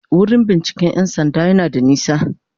Wurin binciken 'yan sanda yana da nisa.*